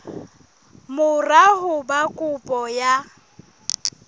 mora ho ba kopo ya